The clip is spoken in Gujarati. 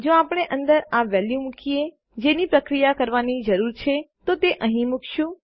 જો આપણે આ અંદર વેલ્યુઓ મુકીએ જેની પ્રક્રિયા કરવાની જરૂર છે તો તેને અહીં મુકીશું